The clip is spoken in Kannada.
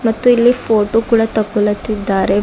ಮತ್ತು ಇಲ್ಲಿ ಫೋಟೋ ಕೂಡ ತಕ್ಕೋಲಾತಿದ್ದಾರೆ.